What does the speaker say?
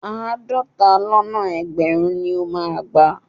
Àádọ́ta lọ́nà ẹgbẹ̀rún ni ó máa gbà.